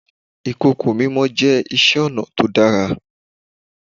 Ìkòkò mímọ jẹ́ iṣẹ́ ọnà tó dára.